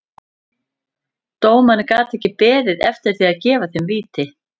Dómarinn gat ekki beðið eftir því að gefa þeim víti.